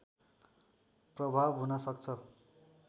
प्रभाव हुन सक्छ